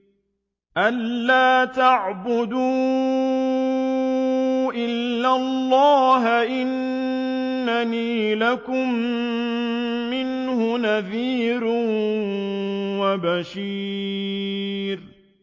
أَلَّا تَعْبُدُوا إِلَّا اللَّهَ ۚ إِنَّنِي لَكُم مِّنْهُ نَذِيرٌ وَبَشِيرٌ